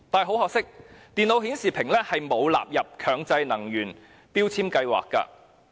很可惜，電腦顯示屏仍未被納入強制性標籤計劃內。